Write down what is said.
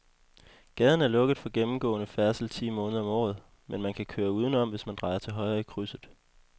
Gaden er lukket for gennemgående færdsel ti måneder om året, men man kan køre udenom, hvis man drejer til højre i krydset.